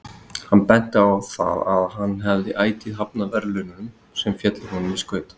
Hann benti á það að hann hafði ætíð hafnað verðlaunum sem féllu honum í skaut.